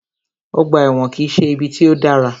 Ọgbà ẹ̀wọ̀n kìí ṣe ibi tí o dára.